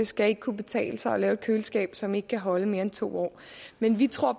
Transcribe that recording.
skal ikke kunne betale sig at lave et køleskab som ikke kan holde mere end to år men vi tror